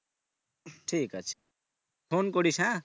ঠিক আছে phone করিস হ্যাঁ?